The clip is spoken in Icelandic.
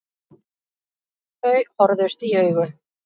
Þau horfðust í augu.